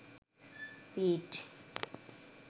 পিঠ